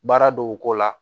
Baara dɔw ko la